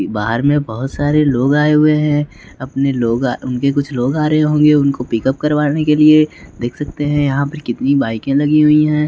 बाहर में बहुत सारे लोग आए हुए हैं अपने लोगा उनके कुछ लोग आ रहे होंगे उनको पिकअप करवाने के लिए देख सकते हैं यहाँ पर कितनी बाइके लगी हुई हैं।